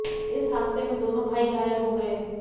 इस हादसे में दोनों भाई घायल हो गए